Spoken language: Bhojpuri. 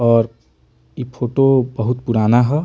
और इ फोटो बहुत पुराना है |